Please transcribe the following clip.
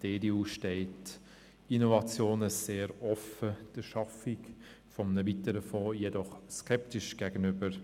Die EDU steht Innovationen sehr offen, der Schaffung eines weiteren Fonds jedoch skeptisch gegenüber.